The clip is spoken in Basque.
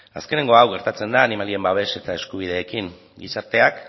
azkeneko hau gertatzen da animalien babes eta eskubideekin gizarteak